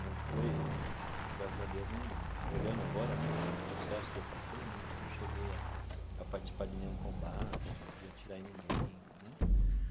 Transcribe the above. não fui, graças a Deus, num olhando agora né pelo processo que eu passei, não não cheguei a a participar de nenhum combate, de de atirar em ninguém né.